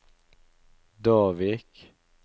Davik